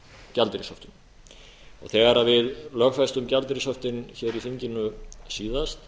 gjaldeyrishöftum þegar við lögfestum gjaldeyrishöftin hér í þinginu síðast